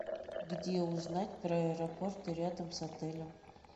где узнать про аэропорты рядом с отелем